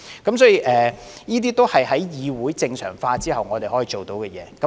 這些都是在議會正常化後我們能辦到的事情。